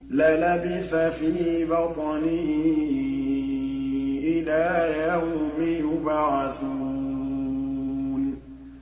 لَلَبِثَ فِي بَطْنِهِ إِلَىٰ يَوْمِ يُبْعَثُونَ